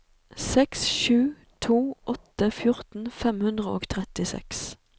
seks sju to åtte fjorten fem hundre og trettiseks